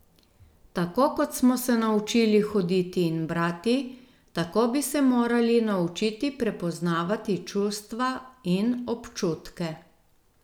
Tako kot smo se naučili hoditi in brati, tako bi se morali naučiti prepoznavati čustva in občutke.